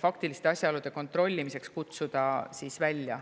faktiliste asjaolude kontrollimiseks välja kutsuda.